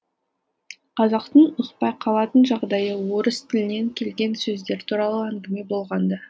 қазақтың ұқпай қалатын жағдайы орыс тілінен келген сөздер туралы әңгіме болғанда